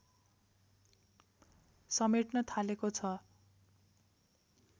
समेट्न थालेको छ